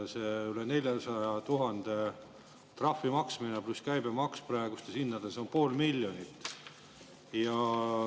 See üle 400 000 trahvi maksmine pluss käibemaks on praegustes hindades pool miljonit.